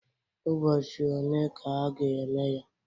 Ụbọchị one ka a ga-eme ya?